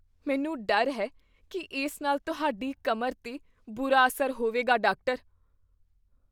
ਮੈਨੂੰ ਡਰ ਹੈ ਕੀ ਇਸ ਨਾਲ ਤੁਹਾਡੀ ਕਮਰ 'ਤੇ ਬੁਰਾ ਅਸਰ ਹੋਵੇਗਾ ਡਾਕਟਰ